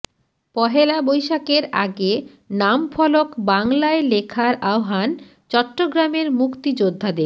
পহেলা বৈশাখের আগে নামফলক বাংলায় লেখার আহ্বান চট্টগ্রামের মুক্তিযোদ্ধাদের